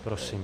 Prosím.